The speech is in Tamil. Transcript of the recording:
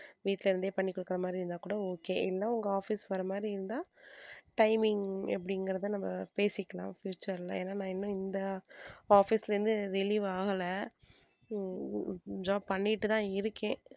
வீட்ல இருந்தே பண்ணி கொடுக்குற மாதிரி இருந்தாக்கூட okay இல்ல உங்க office வர மாதிரி இருந்தா timing எப்படிகிங்கறத நாம பேசிக்கலாம் future ல ஏன்னா நான் இன்னும் இந்த office ல இருந்து relieve ஆகல உம் job பண்ணிட்டு தான் இருக்கேன்.